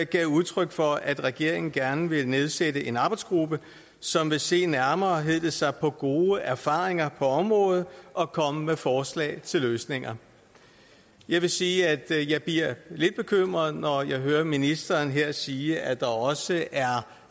gav udtryk for at regeringen gerne vil nedsætte en arbejdsgruppe som vil se nærmere hed det sig på gode erfaringer fra området og komme med forslag til løsninger jeg vil sige at jeg bliver lidt bekymret når jeg hører ministeren her sige at der også er